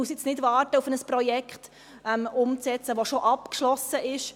Wir müssen nun nicht darauf warten, ein Projekt umzusetzen, welches bereits abgeschlossen ist.